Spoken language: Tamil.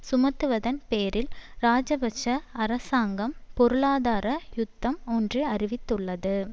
சுமத்துவதன் பேரில் இராஜபக்ஷ அரசாங்கம் பொருளாதார யுத்தம் ஒன்று அறிவித்துள்ளது